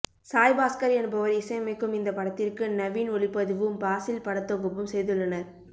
சாய் பாஸ்கர் என்பவர் இசையமைக்கும் இந்த படத்திற்கு நவீன் ஒளிப்பதிவும் பாசில் படத்தொகுப்பும் செய்துள்ளனர்